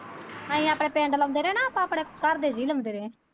ਅਸੀਂ ਆਪਣੇ ਪਿੰਡ ਲਾਉਂਦੇ ਰਹੇ ਨਾ ਆਪਾਂ ਆਪਣੇ ਘਰ ਦੇ ਜੀਅ ਲਾਉਂਦੇ ਰਹੇ।